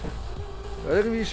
öðruvísi